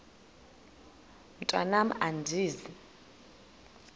mntwan am andizi